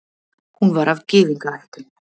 Hún var af gyðingaættum.